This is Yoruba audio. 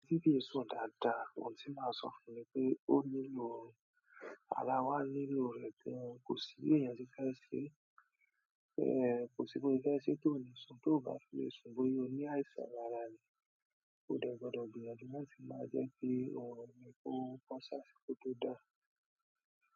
Tí kì í sùn dáadáa, ohun tí màá sọ fún ni pé ó nílò, ara wá nílò rẹ̀ gan kò sí èèyàn se fẹ́ ṣe tí oò ní sùn, tóo bá tí lè sùn, bóyá o ní àìsàn lára ni. Mo dẹ̀ gbọdọ gbìyànjú láti má jẹ́kí oorun mi kò bọ́sí àsìkò tí o dáa.